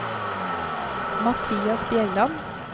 Mathias Bjelland